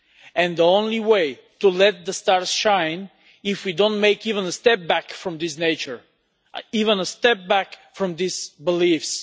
And the only way to let the stars shine is by not taking even one step back from this nature, not even one step back from these beliefs.